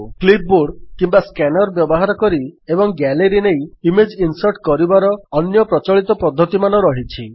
clipboard କିମ୍ୱା scanner ବ୍ୟବହାର କରି ଏବଂ ଗ୍ୟାଲେରୀ ନେଇ ଇମେଜ୍ ଇନ୍ସର୍ଟ କରିବାର ଅନ୍ୟ ପ୍ରଚଳିତ ପଦ୍ଧତିମାନ ରହିଛି